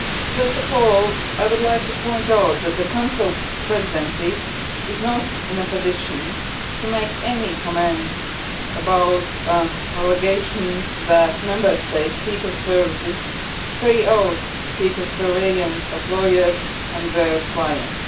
First of all, I would like to point out that the Council Presidency is not in a position to make any comments about an allegation that a Member State's secret services carry out secret surveillance of lawyers and their clients.